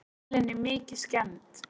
Vélin er mikið skemmd.